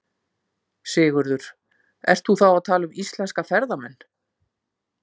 Sigurður: Ert þú þá að tala um íslenska ferðamenn?